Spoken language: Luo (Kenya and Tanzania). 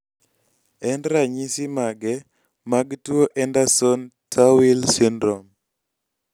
en ranyisi mage mag tuo Andersen Tawil Syndrom